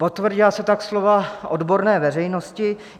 Potvrdila se tak slova odborné veřejnosti.